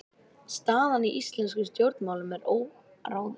Staðan í íslenskum stjórnmálum er óráðin